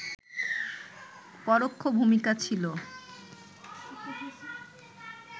পরোক্ষ ভূমিকা ছিল